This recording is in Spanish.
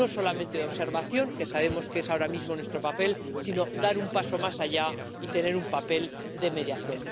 no solamente de observación, que sabemos que es ahora mismo nuestro papel, sino dar un paso más allá y tener un papel de mediación.